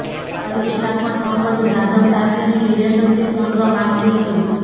અર્પિતા પણ પંકજ જાધવ સાથેની રિલેશનશીપ તોડવા માગતી હતી